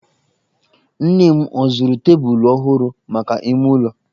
Nne m ọ zụrụ tebụlụ ọhụrụ maka ime ụlọ?